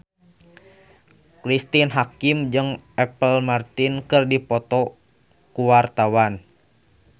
Cristine Hakim jeung Apple Martin keur dipoto ku wartawan